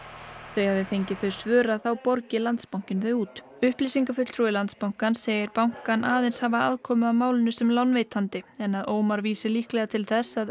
þau hafi fengið þau svör að þá borgi Landsbankinn þau út upplýsingafulltrúi Landsbankans segir bankann aðeins hafa aðkomu að málinu sem lánveitandi en að Ómar vísi líklega til þess að